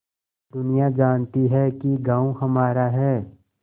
दुनिया जानती है कि गॉँव हमारा है